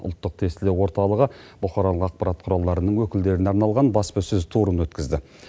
ұлттық тестілеу орталығы бұқаралық ақпарат құралдарының өкілдеріне арналған баспасөз турын өткізді